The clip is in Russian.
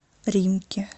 римки